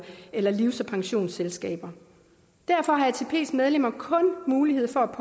eller livs og pensionsselskaber derfor har atps medlemmer kun mulighed for